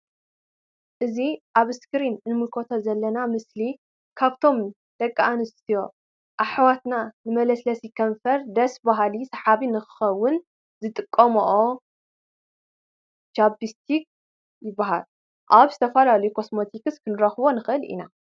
እዚ አብ እስክሪን እንምልከቶ ዘለና ምስሊ ካብቶም ደቂ አንስትዮ አሕዋትና ንመለስለሲ ከንፈርን ደስ በሃሊ ሰሓቢ ንክህልዎ ዝጠቅም ችብስቲክ ይብሃል:: አብ ዝተፈላለዩ ኮስሞቲክስ ክንረክቦ ንክእል ኢና::